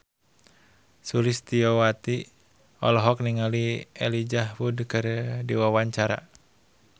Sulistyowati olohok ningali Elijah Wood keur diwawancara